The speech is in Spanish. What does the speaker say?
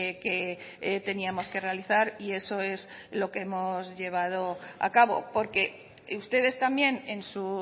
que teníamos que realizar y eso es lo que hemos llevado a cabo porque ustedes también en su